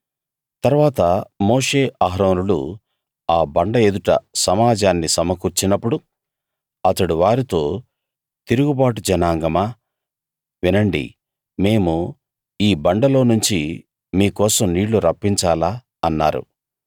తరువాత మోషే అహరోనులు ఆ బండ ఎదుట సమాజాన్ని సమకూర్చినప్పుడు అతడు వారితో తిరుగుబాటు జనాంగమా వినండి మేము ఈ బండలోనుంచి మీకోసం నీళ్ళు రప్పించాలా అన్నారు